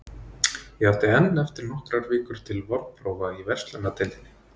Ég átti enn eftir nokkrar vikur til vorprófa í verslunardeildinni.